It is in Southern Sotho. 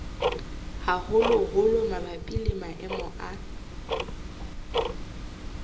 haholoholo mabapi le maemo a